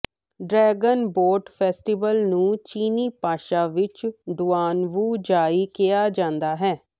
dragon boat festival ਨੂੰ ਚੀਨੀ ਭਾਸ਼ਾ ਵਿਚ ਡੁਆਨ ਵੂ ਜਾਈ ਕਿਹਾ ਜਾਂਦਾ ਹੈ